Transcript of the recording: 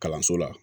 Kalanso la